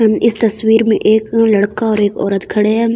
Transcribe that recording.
इस तस्वीर में एक लड़का और एक औरत खड़े हैं।